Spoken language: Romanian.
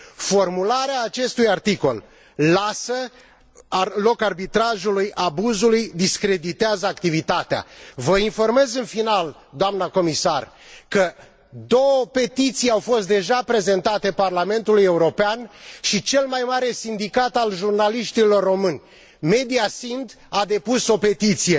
Formularea acestui articol lasă loc arbitrajului, abuzului, discreditează activitatea. Vă informez în final, doamna Comisar, că două petiții au fost deja prezentate Parlamentului European și cel mai mare sindicat al jurnaliștilor români, MediaSind, a depus o petiție.